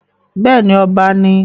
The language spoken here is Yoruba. bẹ́ẹ̀ni, ọba ni I